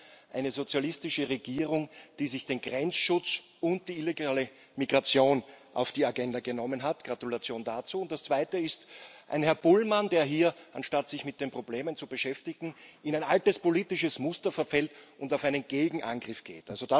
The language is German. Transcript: Zum einen Eine sozialistische Regierung, die den Grenzschutz und die illegale Migration auf die Agenda gesetzt hat Gratulation dazu und das Zweite ist ein Herr Bullmann, der hier, anstatt sich mit den Problemen zu beschäftigen, in ein altes politisches Muster verfällt und einen Gegenangriff startet.